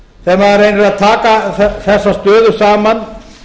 því þegar maður reynir að taka þessa stöðu saman